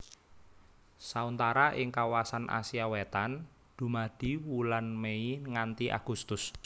Sauntara ing kawasan Asia Wétan dumadi wulan Mei nganti Agustus